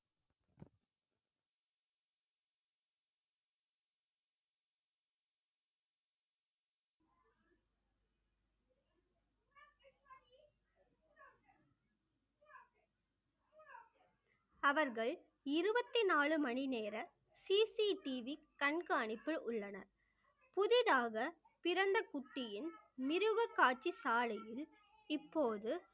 அவர்கள் இருபத்தி நாலு மணி நேர CCTV கண்காணிப்பில் உள்ளன புதிதாக பிறந்த குட்டியின் மிருகக்காட்சி சாலையில் இப்போது